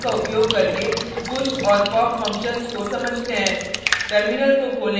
sample program का उपयोग करके push और pop फंक्शन्स को समझते हैं